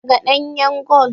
Daga ɗanyan gol